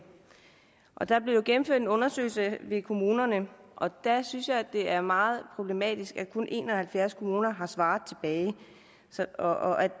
der blev jo gennemført en undersøgelse i kommunerne og der synes jeg at det er meget problematisk at kun en og halvfjerds kommuner har svaret og at